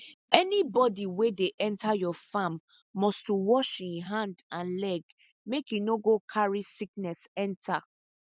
anybody wey dey enter your farm must to wash e hand and leg make e no go carry sickness enter